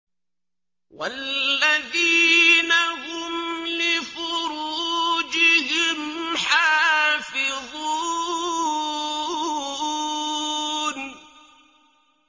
وَالَّذِينَ هُمْ لِفُرُوجِهِمْ حَافِظُونَ